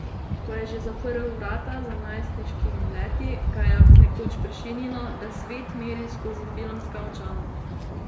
Ko je že zaprl vrata za najstniškimi leti, ga je nekoč prešinilo, da svet meri skozi filmska očala.